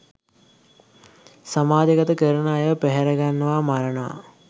සමාජ ගත කරන අයව පැහැරගන්නවා මරණවා